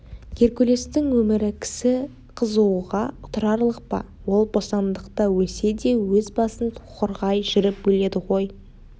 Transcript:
геркулестің өмірі кісі қызығуға тұрарлық па ол бостандықта өлсе де өз басын қорғай жүріп өледі ғой